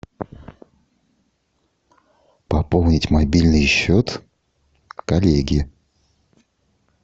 пополнить мобильный счет коллеги